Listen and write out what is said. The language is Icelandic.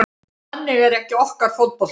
Þannig er ekki okkar fótbolti